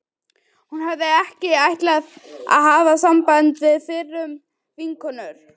Hún hafði ekki ætlað að hafa samband við fyrrum vinkonur